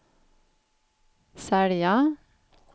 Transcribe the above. sälja